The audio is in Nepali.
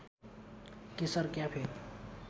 केशर क्याफे